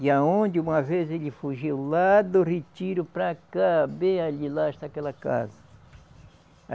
E aonde uma vez ele fugiu, lá do retiro, para cá, bem ali, lá está aquela casa.